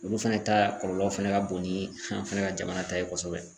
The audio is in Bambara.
Olu fana ta kɔlɔlɔ fɛnɛ ka bon ni an fana ka jamana ta ye kosɛbɛ.